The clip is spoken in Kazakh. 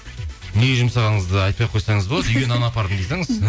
неге жұмсағаныңызды айтпай ақ қойсаңыз болады үйге нан апардым дей салыңыз